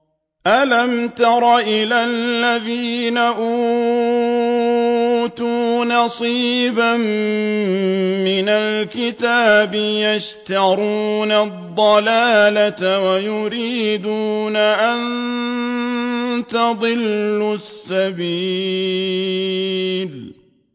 أَلَمْ تَرَ إِلَى الَّذِينَ أُوتُوا نَصِيبًا مِّنَ الْكِتَابِ يَشْتَرُونَ الضَّلَالَةَ وَيُرِيدُونَ أَن تَضِلُّوا السَّبِيلَ